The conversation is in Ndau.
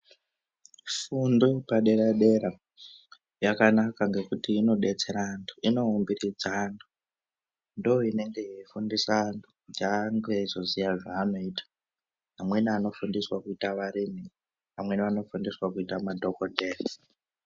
Fundo yepadera dera yakanaka ngekuti inodetsera antu inoumbikidza antu ndiyo inenge ichifundisa antu kuti ange eizoziva zvanoita amweni anofundiswa kuita varimi vamweni vanofundiswa kuita madhokodheya.